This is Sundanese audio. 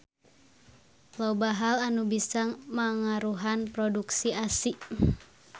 Loba hal anu bisa mangaruhan produksi ASI.